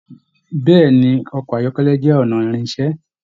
Bẹ̀ẹ́ni ọkọ ayọkẹlẹ jẹ ọnà ìrìnṣẹ̀.